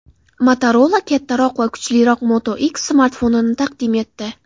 Motorola kattaroq va kuchliroq Moto X smartfonini taqdim etdi.